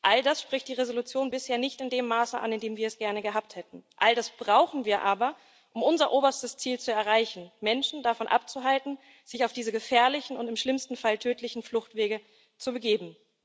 All das spricht die Entschließung bisher nicht in dem Maße an, in dem wir es gerne gehabt hätten. All das brauchen wir aber, um unser oberstes Ziel zu erreichen Menschen davon abzuhalten, sich auf diese gefährlichen und im schlimmsten Fall tödlichen Fluchtwege zu begeben.